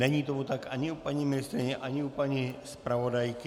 Není tomu tak ani u paní ministryně, ani u paní zpravodajky.